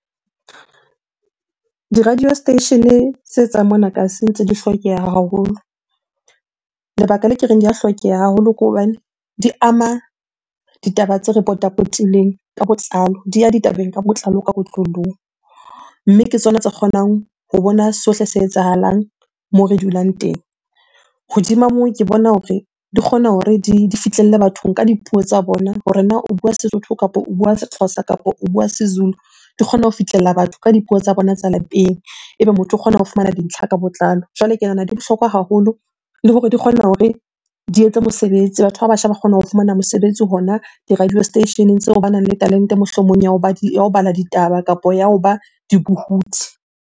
Di-radio station-e tswang mona kasi ntse di hlokeha haholo. Lebaka le ke reng di ya hlokeha haholo ke hobane di ama ditaba tse re potapotileng ka botlalo, di ya ditabeng ka botlalo ka . Mme ke tsona tse kgonang ho bona sohle se etsahalang moo re dulang teng. Hodima moo, ke bona hore di kgona hore di fihlelle bathong ka dipuo tsa bona hore na o bua Sesotho kapo o bua Sexhosa, kapa o bua Sezulu? Di kgona ho fihlella batho ka dipuo tsa bona tsa lapeng ebe motho o kgona ho fumana dintlha ka botlalo. Jwale ke nahana di bohlokwa haholo le hore di kgona hore di etse mosebetsi. Batho ba batjha ba kgona ho fumana mosebetsi hona di-radio station-eng tseo. Banang le talente, mohlomong ya hoba di, ya ho bala ditaba kapo ya hoba dibohudi.